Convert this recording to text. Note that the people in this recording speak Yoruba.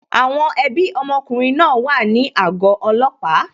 Àwọn ẹbí ọmọkùnrin náà wà ní àgọ́ ọlọ́pàá